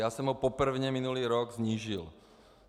Já jsem ho prvně minulý rok snížil.